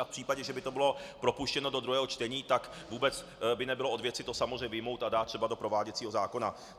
A v případě, že by to bylo propuštěno do druhého čtení, tak vůbec by nebylo od věci to samozřejmě vyjmout a dát třeba do prováděcího zákona.